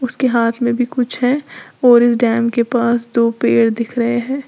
के हाथ में भी कुछ है और इस डैम के पास दो पेड़ दिख रहे हैं।